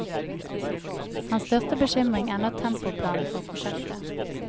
Hans største bekymring er nå tempoplanen for prosjektet.